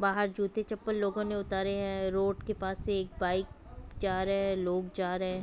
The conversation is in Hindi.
बाहर जूते चप्पल लोगो ने उतारे हैं रोड के पास से एक बाइक जा रहे हैलोग जा रहे है ।